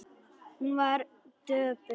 Hún var döpur.